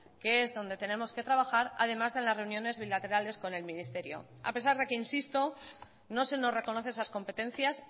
que es donde tenemos que trabajar además de las reuniones bilaterales con el ministerio a pesar de que insisto no se nos reconoce esas competencias